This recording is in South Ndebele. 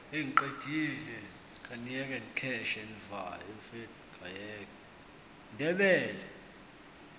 ndebele